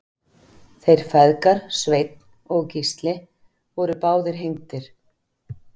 Þeir feðgar Sveinn og Gísli voru báðir hengdir.